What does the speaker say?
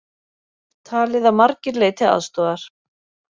Talið að margir leiti aðstoðar